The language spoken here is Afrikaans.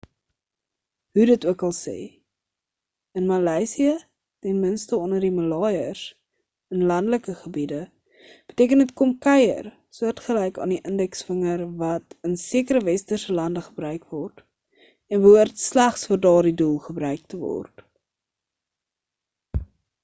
hoe dit okal se in maleisië ten minste onder die maleiers in landelike gebiede beteken dit kom kuier soortgelyk aan die indeksvinger wat in sekere westerse lande gebruik word en behoort slegs vir daardie doel gebruik te word